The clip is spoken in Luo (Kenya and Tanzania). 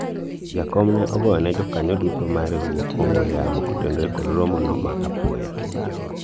jakom ne ogoyone jokanyo duto mar riwruok ong'we yamo kotenore kod romo no ma apoya